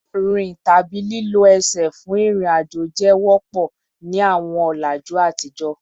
Rin tabi lilo ẹṣin fun irin-ajo jẹ wọpọ ni awọn ọlaju atijọ